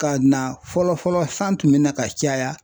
Ka na fɔlɔ fɔlɔ san tun bɛ na ka caya.